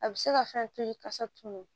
A bɛ se ka fɛn to ye kasa tunun